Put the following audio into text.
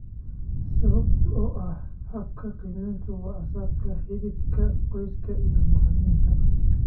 Sababta oo ah habka qiimayntu waa aasaaska xidhiidhka qoyska iyo macalimiinta.